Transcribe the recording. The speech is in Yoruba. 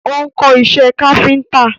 Ó ń kọ́ isẹ́ káfíntà.